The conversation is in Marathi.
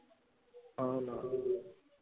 हाओ ना